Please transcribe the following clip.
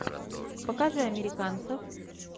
покажи американцев